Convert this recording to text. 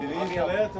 Hey, hey, hey, hey, hey!